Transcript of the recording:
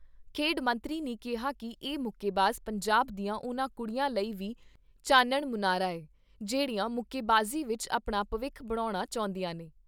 ਖੇਡ ਮੰਤਰੀ ਨੇ ਕਿਹਾ ਕਿ ਇਹ ਮੁੱਕੇਬਾਜ਼ ਪੰਜਾਬ ਦੀਆਂ ਉਨ੍ਹਾਂ ਕੁੜੀਆਂ ਲਈ ਵੀ ਚਾਨਣ ਮੁਨਾਰਾ ਏ, ਜਿਹੜੀਆਂ ਮੁੱਕੇਬਾਜ਼ੀ ਵਿਚ ਆਪਣਾ ਭਵਿੱਖ ਬਣਾਉਣਾ ਚਾਹੁੰਦੀਆਂ ਨੇ।